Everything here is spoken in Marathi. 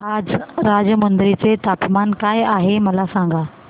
आज राजमुंद्री चे तापमान काय आहे मला सांगा